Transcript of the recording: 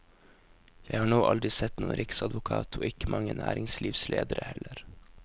Jeg har nå aldri sett noen riksadvokat, og ikke mange næringslivsledere heller.